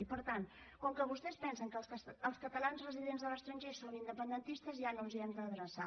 i per tant com que vostès pensen que els catalans residents a l’estranger són independentistes ja no ens hi hem d’adreçar